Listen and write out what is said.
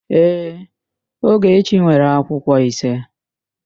Ee, Ogechi nwere akwụkwọ ise.